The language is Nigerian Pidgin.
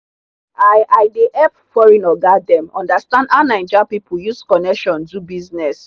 i i dey help foreign oga dem understand how naija people use connection do business.